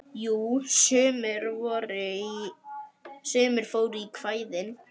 Jú, sumir fóru í kvæðin.